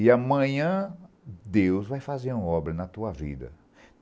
E amanhã, Deus vai fazer uma obra na tua vida.